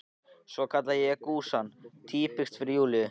Svo skall á gusan: Týpiskt fyrir Júlíu!